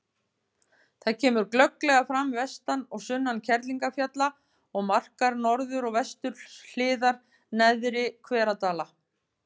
Það kemur glögglega fram vestan og sunnan Kerlingarfjalla og markar norður- og vesturhliðar Neðri-Hveradala.